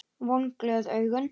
Vonglöð augun.